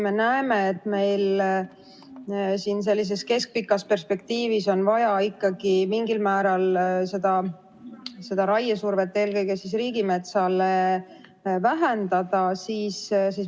Me näeme, et keskpikas perspektiivis on vaja ikkagi mingil määral raiesurvet eelkõige riigimetsale vähendada.